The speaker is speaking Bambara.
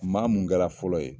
Maa mun kɛ la fɔlɔ ye.